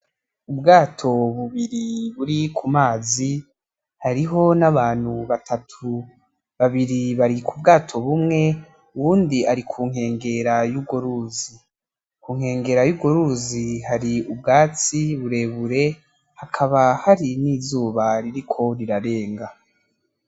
Ubwato bubiri buri kumazi, hariho nabantu batatu. Babiri bari ku bwato bumwe uwundi ari kunkengera yurwo ruzi. Kunkengera y'urwo ruzi hari ubwatsi burebure hakaba hari nizuba ririko rirarenga.